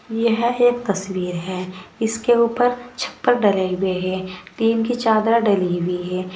यह एक तस्वीर है इसके ऊपर छपर डले हुए हैं टीन की चादर डली हुई है।